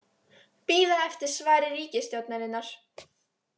Bíða eftir svari ríkisstjórnarinnar